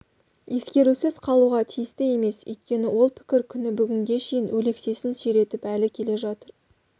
ескерусіз қалуға тиісті емес өйткені ол пікір күні бүгінге шейін өлексесін сүйретіп әлі келе жатыр